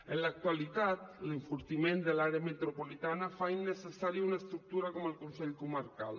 en l’actualitat l’enfortiment de l’àrea metropolitana fa innecessària una estructura com el consell comarcal